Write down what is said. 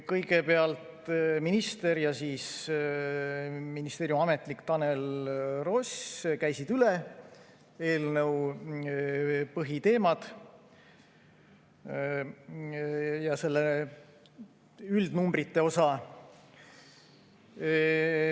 Kõigepealt minister ja ministeeriumi ametnik Tanel Ross käisid üle eelnõu põhiteemad ja selle üldnumbrite osa.